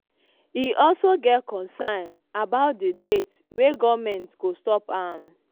e also get concern about di date wey goment go stop am.